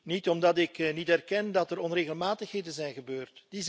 Niet omdat ik niet erken dat er onregelmatigheden zijn gebeurd.